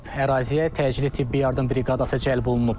Əraziyə təcili tibbi yardım briqadası cəlb olunub.